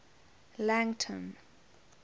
langton